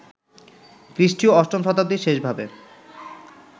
খ্রীষ্টীয় অষ্টম শতাব্দীর শেষ ভাবে